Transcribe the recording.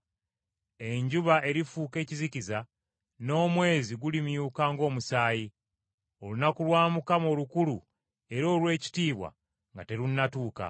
Enjuba erifuuka ekizikiza, n’omwezi gulimyuka ng’omusaayi, olunaku lwa Mukama olukulu era olw’ekitiibwa nga terunnatuuka.